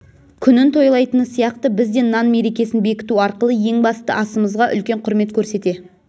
күнін тойлайтыны сияқты біз де нан мерекесін бекіту арқылы ең басты аысымзға үлкен құрмет көрсете